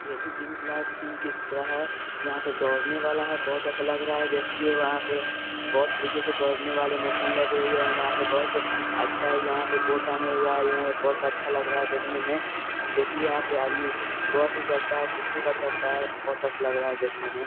ये भी gym class gym की तरह है यहाँ पे दौड़ने वाला है बहुत अच्छा लग रहा है देखने ये वहां पे बहुत तरीके के दौड़ने वाले मशीन लगे हुए हैं वहां पे बहुत अच्छा है यहाँ पे बहुत टाँगे हुए है यहाँ बहुत अच्छा लग रहा है देखने में देखिए यहाँ पे आदमी दौड़ भी सकता है कुछ भी कर सकता है बहुत अच्छा लग रहा है देखने में।